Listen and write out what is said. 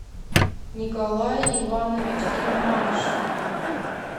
николай иванович гельманшин